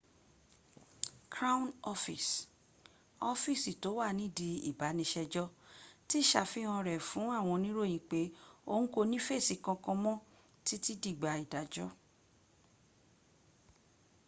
crown office ọ́fíísì tó wà nídìí ìbániṣẹjọ́ ti ṣàfihàn rẹ̀ fún àwọn oníròyìn pé òhun kò ní fèsì kankan mọ títí dìgbà ìdájọ́